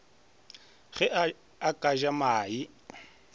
ge a ka ja mae